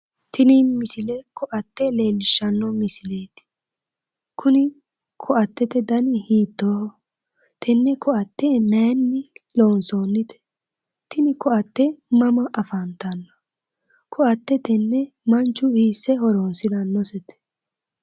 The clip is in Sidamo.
Tini misile koatte leellishshanno misileeti. kuni koatete dani hiittooho? tenne koatte maayiinni loonsoonnite? tini koatte mama afantanno? koatte tenne manchu hiisse horonsirannose?